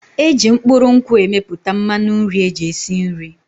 Eji mkpụrụ nkwụ emepụta mmanụ nri eji esi nri.